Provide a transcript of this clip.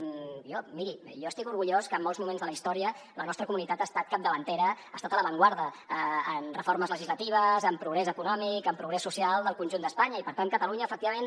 jo miri jo estic orgullós que en molts moments de la història la nostra comunitat ha estat capdavantera ha estat a l’avantguarda en reformes legislatives en progrés econòmic en progrés social del conjunt d’espanya i per tant catalunya efectivament